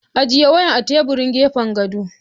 Ajiye wayan a teburin gefan gado!